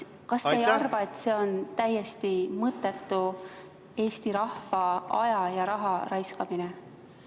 Kas te ei arva, et see on täiesti mõttetu Eesti rahva aja ja raha raiskamine?